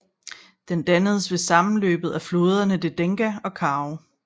Den dannes ved sammenløbet af floderne Degdega og Kao